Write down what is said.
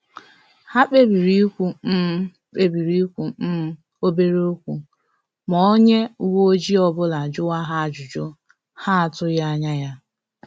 Ha kpebiri ikwu um kpebiri ikwu um obere okwu ma onye uwe ọjị ọbụla juwa ha ajụjụ ha atughi anya ya